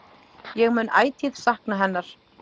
Ég mun ætíð sakna hennar.